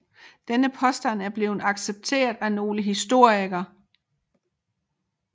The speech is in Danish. Denne påstand er blevet accepteret af nogle moderne historikere